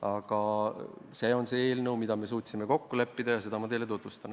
Aga see on praegu see eelnõu, milles me suutsime kokku leppida, ja seda ma teile tutvustan.